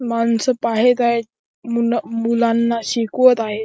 माणसं पाहेयेत हायत मुला मुलांना शिकवत आहेत.